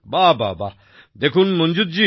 বাহ্ বাহ্ দেখুন মঞ্জুর জি